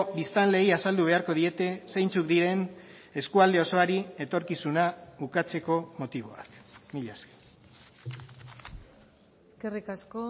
biztanleei azaldu beharko diete zeintzuk diren eskualde osoari etorkizuna ukatzeko motiboak mila esker eskerrik asko